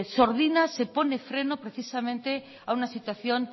sordina se pone freno precisamente a una situación